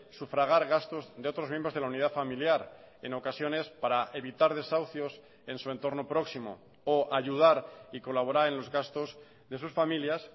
sufragar gastos de otros miembros de la unidad familiar en ocasiones para evitar desahucios en su entorno próximo o ayudar y colaborar en los gastos de sus familias